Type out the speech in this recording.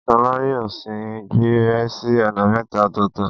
Wọ́n ni Ṣolá yóò sín gbẹ́rẹ́ sí ọ̀nà mẹ́ta ọ̀tọ̀ọ̀tọ̀.